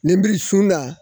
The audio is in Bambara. Nenbiri su la.